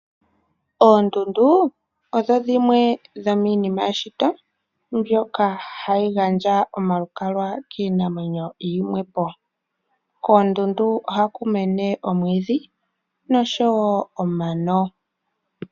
Oondundu odho dhimwe dhomiinima yeshito mbyoka hayi gandja omalukalwa kiinamwenyo yimwepo . Koondundu ohaku mene omwiidhi noshowoo omano.